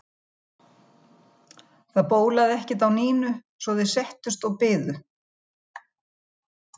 Það bólaði ekkert á Nínu svo að þeir settust og biðu.